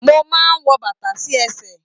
Mo máa n wọ bàtà sí ẹsẹ.